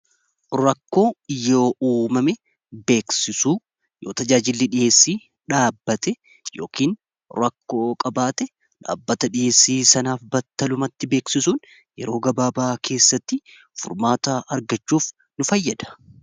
Rakkoo yoo uummame beeksisuu yoo tajaajillii dhiheessii dhaabbate yookin rakkoo qabaate dhaabbata dhiheessii sanaaf batta lumatti beeksisuun yeroo gabaabaa keessatti furmaata argachuuf nu fayyada.